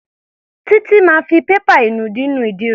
Títí máa fi pépà ìnùdí nu ìdí rẹ̀.